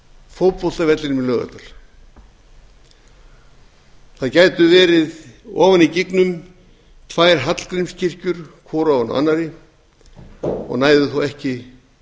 fótboltavellinum í laugardal það gætu verið ofan í gígnum tvær hallgrímskirkjur hvor ofan á annarri og næðu þó ekki